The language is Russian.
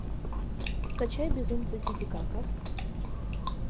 скачай безумцы титикака